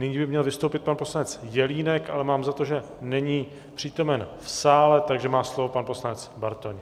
Nyní by měl vystoupit pan poslanec Jelínek, ale mám za to, že není přítomen v sále, takže má slovo pan poslanec Bartoň.